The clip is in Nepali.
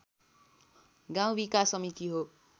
गाउँ विकास समिति हो।